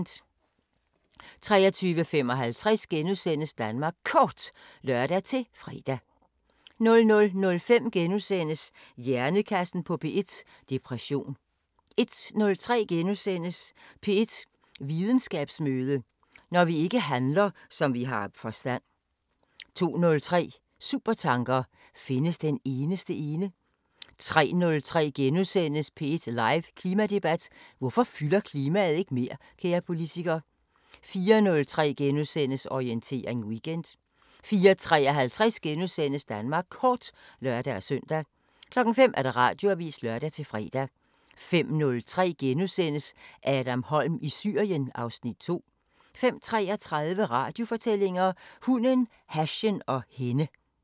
23:55: Danmark Kort *(lør-fre) 00:05: Hjernekassen på P1: Depression * 01:03: P1 Videnskabsmøde: Når vi ikke handler, som vi har forstand * 02:03: Supertanker: Findes den eneste ene? 03:03: P1 live Klimadebat: Hvorfor fylder klimaet ikke mere, kære politiker? * 04:03: Orientering Weekend * 04:53: Danmark Kort *(lør-søn) 05:00: Radioavisen (lør-fre) 05:03: Adam Holm i Syrien (Afs. 2)* 05:33: Radiofortællinger: Hunden, hashen og hende